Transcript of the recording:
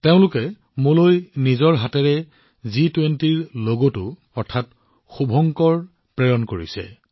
তেওঁ মোলৈ এই জি২০ লগটো নিজৰ হাতেৰে বুই প্ৰেৰণ কৰিছে